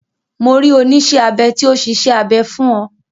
Mo rí oníṣẹ́ abẹ tí ó ṣiṣẹ́ abẹ fún ọ.